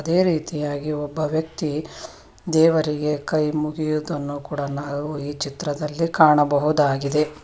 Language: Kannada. ಇದೆ ರೀತಿಯಾಗಿ ಒಬ್ಬ ವ್ಯಕ್ತಿ ದೇವರಿಗೆ ಕೈ ಮುಗಿಯುವುದನ್ನು ಕೂಡ ನಾವು ಈ ಚಿತ್ರದಲ್ಲಿ ಕಾಣಬಹುದಾಗಿದೆ.